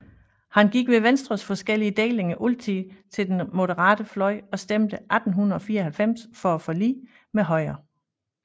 Han gik ved Venstres forskellige delinger altid til den moderate fløj og stemte 1894 for forliget med Højre